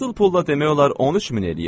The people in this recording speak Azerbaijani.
Qızıl pulla demək olar 13 min eləyir.